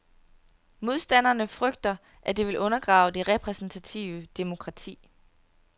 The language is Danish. Modstanderne frygter, at det vil undergrave det repræsentative demokrati.